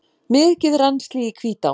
Mikið rennsli í Hvítá